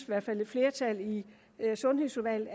hvert fald et flertal i sundhedsudvalget